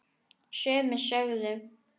Sumir sögðu: